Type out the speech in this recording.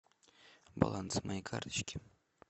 баланс моей карточки